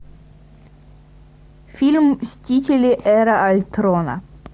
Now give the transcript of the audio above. фильм мстители эра альтрона